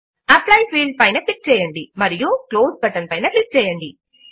apply field పైన click చేయండి మరియు క్లోజ్ బటన్ పైన క్లిక్ చేయండి